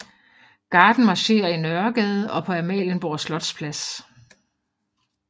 Garden marcherer i Nørregade og på Amalienborg Slotsplads